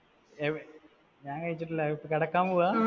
ഞാൻ കഴിച്ചിട്ടില്ല, കിടക്കാൻ പോവാ